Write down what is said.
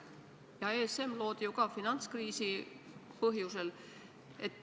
Ja ESM loodi ju ka finantskriisi põhjusel.